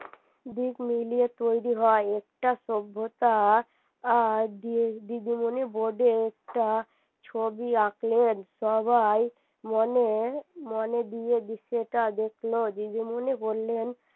দিক মিলিয়ে তৈরি হয় একটা সভ্যতা আহ দিদিমনি board এ একটা ছবি আঁকলেন সবাই মনে মনে দিয়ে যেটা দেখলো দিদিমনি বললেন